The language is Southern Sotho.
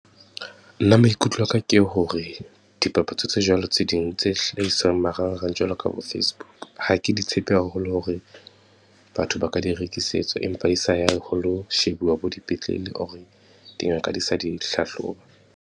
Nna maikutlo aka ke hore, dipapatso tse jwalo tse ding tse hlahiswang marangrang, jwalo ka bo Facebook. Ha ke di tshepe haholo hore batho ba ka di rekisetsa empa sa yo shebuwa bo dipetlele, or dingaka di sa di hlahloba.